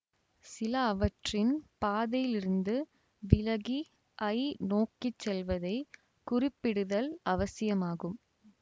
சில அவற்றின் பாதையிலிருந்து விலகி ஐ நோக்கிச்செல்வதைக் குறிப்பிடுதல் அவசியமாகும்